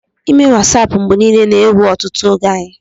ịme Wasap mgbe niile na-ewe ọtụtụ oge anyị